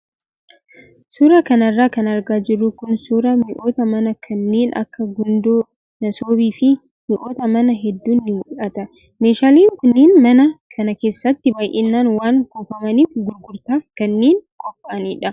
Suuraa kanarra kan argaa jirru kun suuraa mi'oota manaa kanneen akka gundoo, masoobii fi mi'oota manaa hedduun ni mul'ata. Meeshaaleen kunneen mana kana keessatti baay'inaan waan kuufamaniif gurgurtaaf kanneen qophaa'anidha.